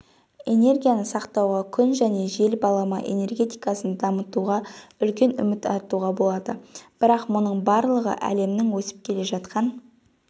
энергияны сақтауға күн және жел балама энергетикасын дамытуға үлкен үміт артуға болады бірақ мұның барлығы әлемнің өсіп келе жатқан